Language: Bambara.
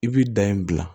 I b'i da in dilan